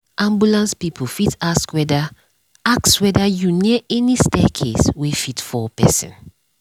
ambulance people fit ask whether ask whether you near any staircase wey fit fall person.